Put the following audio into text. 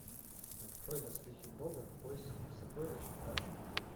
открой доспехи бога в поисках сокровищ аш ди